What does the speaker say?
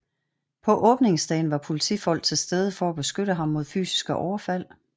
På åbningsdagen var politifolk til stede for at beskytte ham mod fysiske overfald